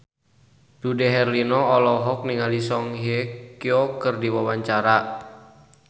Dude Herlino olohok ningali Song Hye Kyo keur diwawancara